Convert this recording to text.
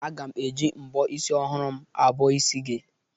Aga m e ji mbọ isi ọhụrụ m abọ isi gị.